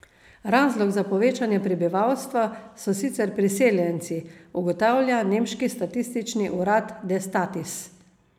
Razlog za povečanje prebivalstva so sicer priseljenci, ugotavlja nemški statistični urad Destatis.